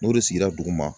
N'o de sigira duguma